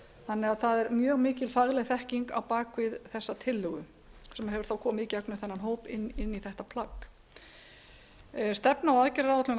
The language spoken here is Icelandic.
þannig að það er mjög mikil fagleg þekking á bak við þessa tillögu sem hefur þá komið í gegnum þennan hóp inn í þetta plagg stefna og